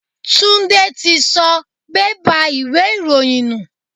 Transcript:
Túndé tí sọ bẹ́bà ìwé ìròyìn nù.